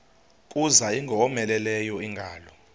kuza ingowomeleleyo ingalo